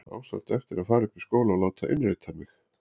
Á samt eftir að fara upp í skóla og láta innrita mig.